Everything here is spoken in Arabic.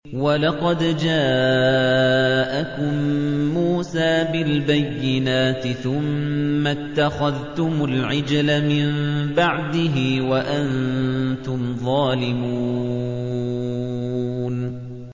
۞ وَلَقَدْ جَاءَكُم مُّوسَىٰ بِالْبَيِّنَاتِ ثُمَّ اتَّخَذْتُمُ الْعِجْلَ مِن بَعْدِهِ وَأَنتُمْ ظَالِمُونَ